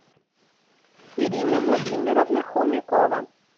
ирина владимировна хомякова